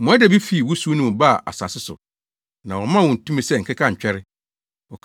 Mmoadabi fii wusiw no mu baa asase so, na wɔmaa wɔn tumi sɛ nkekantwɛre.